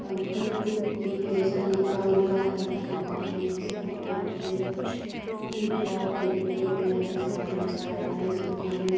Pankaj book depot जैसा लिखा हुआ है ये दुकान है। इसकी दुकान के अंदर कुछ बिक रहा है फेविकोल पे यहां जो साफ नजर आ रहा है। इस दुकान में --